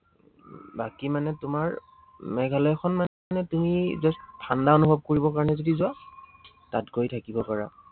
বাকী মানে তোমাৰ মেঘালয়খন মানে তুমি just ঠাণ্ডা অনুভৱ কৰিবৰ কাৰনে যদি যোৱা, তাত গৈ থাকিব পাৰা।